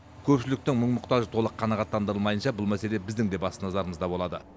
көпшіліктің мұң мұқтажы толық қанағаттандырылмайынша бұл мәселе біздің де басты назарымызда болады